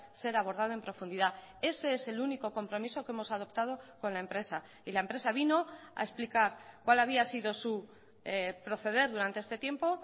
ser abordado en profundidad ese es el único compromiso que hemos adoptado con la empresa y la empresa vino a explicar cuál había sido su proceder durante este tiempo